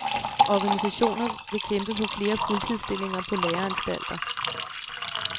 Organisationer vil kæmpe for flere fuldtidsstillinger på læreanstalter.